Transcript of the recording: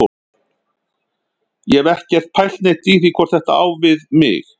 Ég hef ekkert pælt neitt í því hvort þetta á við mig.